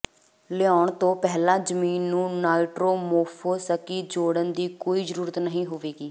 ਲਾਉਣਾ ਤੋਂ ਪਹਿਲਾਂ ਜ਼ਮੀਨ ਨੂੰ ਨਾਈਟਰੋਮੋਫੋਸਕੀ ਜੋੜਨ ਦੀ ਕੋਈ ਜ਼ਰੂਰਤ ਨਹੀਂ ਹੋਵੇਗੀ